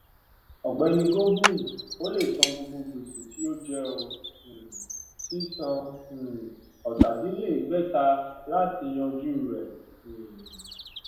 ògbéni gobind ò lè san gbogbo gbèsè tó jẹ ó um sì san um òtàdínlèédégbèta láti yanjú rè um